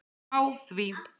Á því